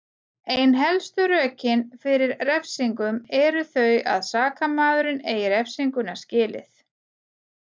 ein helstu rökin fyrir refsingum eru þau að sakamaðurinn eigi refsinguna skilið